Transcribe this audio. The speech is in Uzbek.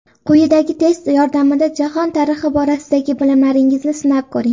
Quyidagi test yordamida jahon tarixi borasidagi bilimlaringizni sinab ko‘ring!